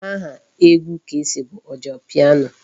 Aha egwu Kcee bụ Ojapiano.